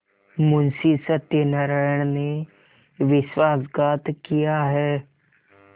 मुंशी सत्यनारायण ने विश्वासघात किया है